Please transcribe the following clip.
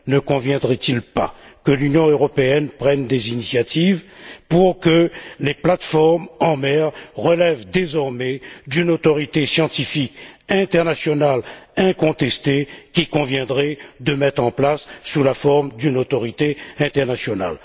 Ne conviendrait il pas que l'Union européenne prenne des initiatives pour que les plateformes en mer relèvent désormais d'une autorité scientifique incontestée qu'il conviendrait de mettre en place sous la forme d'une autorité internationale?